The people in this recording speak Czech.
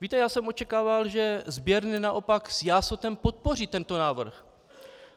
Víte, já jsem očekával, že sběrny naopak s jásotem podpoří tento návrh.